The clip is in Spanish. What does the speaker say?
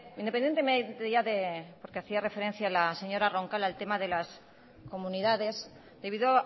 independientemente ya de porque hacía referencia la señora roncal al tema de las comunidades debido